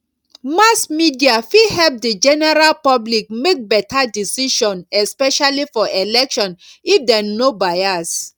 mass media fit help the general public make better decision especially for election if dem no bias